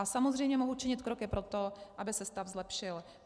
A samozřejmě mohu činit kroky pro to, aby se stav zlepšil.